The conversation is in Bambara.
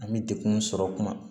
An bɛ dekun sɔrɔ kuma